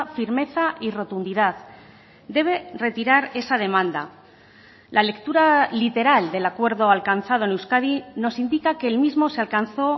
firmeza y rotundidad debe retirar esa demanda la lectura literal del acuerdo alcanzado en euskadi nos indica que el mismo se alcanzó